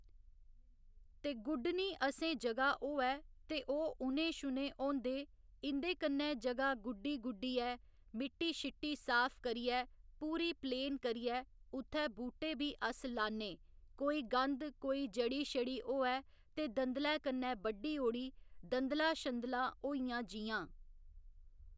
ते गुड्डनी असें जगह होऐ ते ओह् ऊने शुने होंदे इं'दे कन्नै जगह गुड्डी गुड्डियै मिट्टी शिट्टी साफ करियै पूरी प्लेन करियै उत्थै बूह्टे बी अस लान्नै कोई गंद कोई जड़ी शड़ी होऐ ते दंदलै कन्नै बड्ढी ओड़ी दंदलां शंदलां होइयां जि'यां